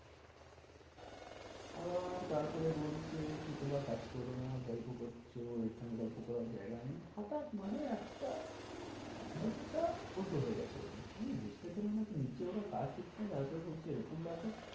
আবার তারপরে বলছে কি তোমরা কাজ করবে না গল্প করছো এখানে গল্প করার জায়গা হঠাৎ মানে একটা mood টা উল্টো হয়ে গেছে ওদের আমি বুঝতে পারলাম না যে নিজে ওরা কাজ তারপরে বলছে এরকম ব্যাপার